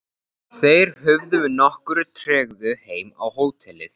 Þeir hurfu með nokkurri tregðu heim á hótelið.